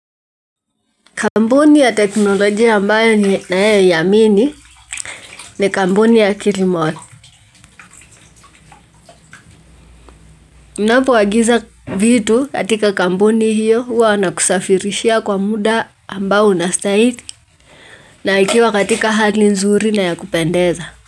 Kampuni ya teknolojia ambayo ninayoiamini ni kampuni ya kilimall. Unapoagiza vitu katika kampuni hio huwa wanakusafirishia kwa muda ambao unastahili na ikiwa katika hali nzuri na ya kupendeza.